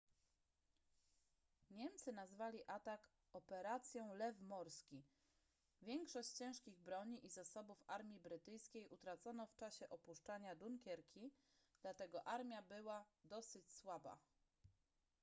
niemcy nazwali atak operacją lew morski większość ciężkich broni i zasobów armii brytyjskiej utracono w czasie opuszczania dunkierki dlatego armia była dosyć słaba